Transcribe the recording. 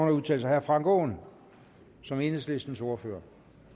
at udtale sig herre frank aaen som enhedslistens ordfører